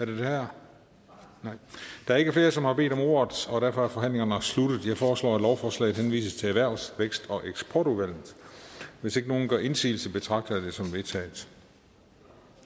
der er ikke flere som har bedt om ordet og derfor er forhandlingen sluttet jeg foreslår at lovforslaget henvises til erhvervs vækst og eksportudvalget hvis ikke nogen gør indsigelse betragter jeg dette som vedtaget